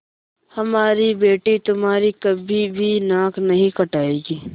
हमारी बेटी तुम्हारी कभी भी नाक नहीं कटायेगी